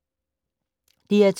DR2